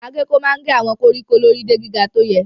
Agéko máa ń gé àwọn koríko lórí de gíga tó yẹ.